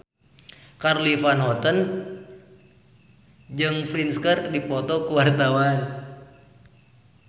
Charly Van Houten jeung Prince keur dipoto ku wartawan